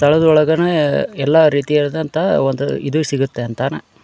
ತಳದೊಳಗೇನೆ ಎಲ್ಲಾ ರೀತಿಯ ಇರಿತಂತ ಒಂದು ಇದು ಸಿಗುತ್ತೆ ಅಂತನ್ --